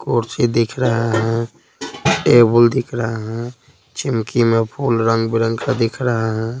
कुर्सी दिख रहा है टेबल दिख रहा है चिमकी में फूल रंग बिरंग का दिख रहा है।